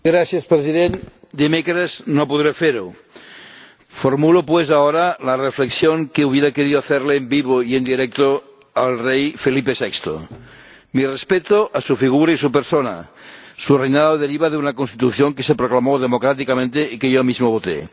Señor Presidente, el miércoles no podré hacerlo formulo, pues, ahora la reflexión que hubiera querido hacerle en vivo y en directo al rey Felipe VI. Mi respeto a su figura y a su persona. Su reinado deriva de una Constitución que se proclamó democráticamente y que yo mismo voté.